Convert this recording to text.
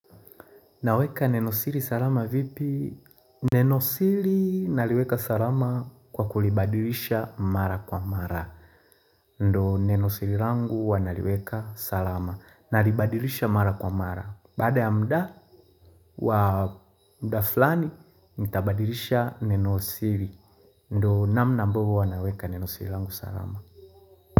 Naweka neno siri salama vipi? Neno siri naliweka salama kwa kulibadilisha mara kwa mara. Ndo neno siri langu wanaliweka salama. Nalibadilisha mara kwa mara. Bada ya mda wa mda flani, nitabadilisha neno siri. Ndo namna mbogo wanaweka neno siri langu salama.